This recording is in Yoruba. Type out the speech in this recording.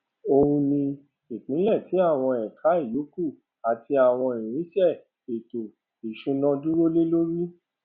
oùn ní ìpìlẹ tì àwọn ẹka ìyókù àti àwọn irinsẹ ètò ìsúná dúró lé lórí